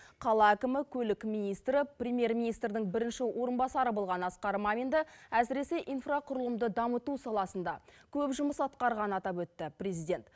қала әкімі көлік министрі премьер министрдің бірінші орынбасары болған асқар маминді әсіресе инфрақұрылымды дамыту саласында көп жұмыс атқарғанын атап өтті президент